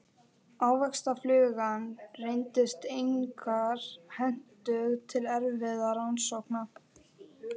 Ávaxtaflugan reyndist einkar hentug til erfðarannsókna.